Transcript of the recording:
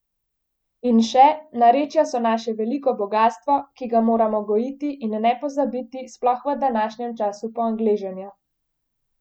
In še: 'Narečja so naše veliko bogastvo, ki ga moramo gojiti in ne pozabiti, sploh v današnjem času poangleženja.